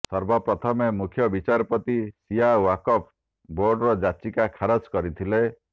ସର୍ବ ପ୍ରଥମେ ମୁଖ୍ୟ ବିଚାରପତି ଶିୟା ଓ୍ୱାକଫ ବୋର୍ଡର ଯାଚିକା ଖାରଜ୍ କରିଥିଲେ